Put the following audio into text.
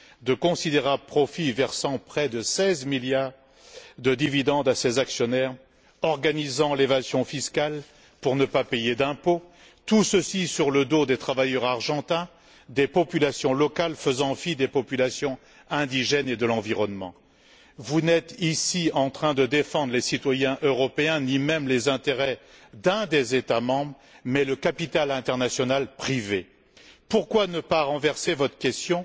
de considérables profits, verse près de 16 milliards de dividendes à ses actionnaires et organise l'évasion fiscale pour ne pas payer d'impôts, tout ceci sur le dos des travailleurs argentins et des populations locales, en faisant fi des populations indigènes et de l'environnement. Vous n'êtes pas ici en train de défendre les citoyens européens ni même les intérêts d'un des États membres mais le capital international privé. Pourquoi ne pas renverser votre question